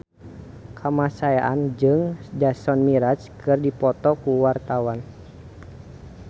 Kamasean jeung Jason Mraz keur dipoto ku wartawan